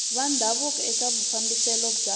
va ndhavuko eka mafambiselo ya